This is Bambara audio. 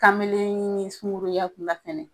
Kamelenni ni sunkuruya b'u la fɛnɛ